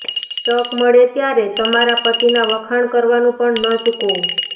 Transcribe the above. તક મળે ત્યારે તમારા પતિના વખાણ કરવાનું પણ ન ચૂકો